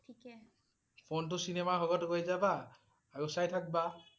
phone টো cinema হলত লৈ যাবা, আৰু চাই থাকিবা